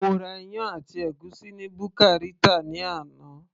mo ra iyán àti ègúsí ni buka Rita ni àná